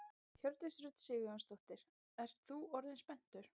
Hjördís Rut Sigurjónsdóttir: Ert þú orðinn spenntur?